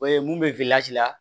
O ye mun bɛ la